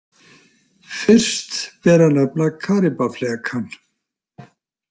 Fyrst ber að nefna Karíbaflekann.